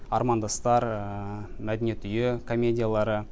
армандастар мәдениет үйі комедиялары